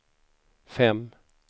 fem